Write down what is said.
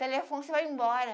Telefone, você vai embora.